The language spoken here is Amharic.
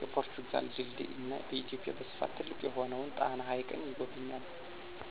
፣የፖርቱጋል ድልድይ እና በኢትዮጵያ በስፍት ትልቅ የሆነውን ጣና ሀይቅን ይጎበኛሉ።